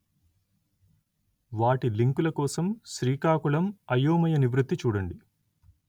వాటి లింకుల కోసం శ్రీకాకుళం అయోమయ నివృత్తి చూడండి